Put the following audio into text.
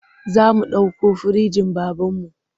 Za mu ɗauko firinjin babanmu.